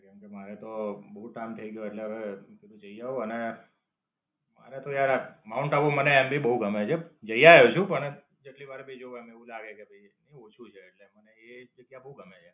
કેમકે, મારે તો બધું જ કામ થાય ગયું એટલે મેં કીધું જઈ આવું અને મને તો યાર માઉન્ટ આબુ મને એમ ભી બોવ ગમે છે જઈ આવ્યો છું પણ જેટલી ભી વાર જાઉં એમ એવું લાગે કે ભાઈ ઓછું છે એટલે મને એ જગ્યા બોવ ગમે છે.